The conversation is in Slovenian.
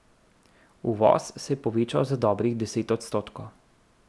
Uvoz se je povečal za dobrih deset odstotkov.